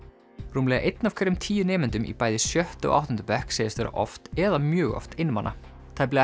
rúmlega einn af hverjum tíu nemendum í bæði sjötta og áttunda bekk segist vera oft eða mjög oft einmana tæplega